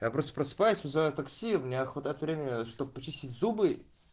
я просто просыпаюсь вызываю такси мне охото от времени чтобы почистить зубы